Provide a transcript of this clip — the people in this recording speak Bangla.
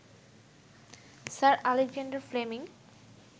sir Alexander Fleming